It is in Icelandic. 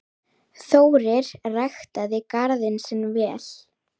Þórir ræktaði garðinn sinn vel.